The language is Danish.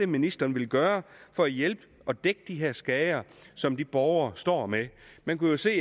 ministeren vil gøre for at hjælpe og dække de her skader som de borgere står med man kunne jo se